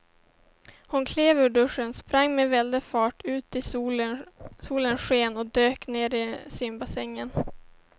Hon klev ur duschen, sprang med väldig fart ut i solens sken och dök ner i simbassängen.